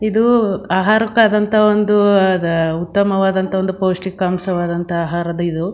ಇದೂ ಆಹಾರಕ್ಕಾದಂತ ಒಂದು ಆ ದ ಉತ್ತಮವಾದಂತ ಒಂದು ಪೌಷ್ಟಿಕಾಂಶವಾದಂತ ಆಹಾರದ ಇದು.